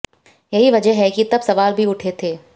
यही वजह है कि तब सवाल भी उठे थे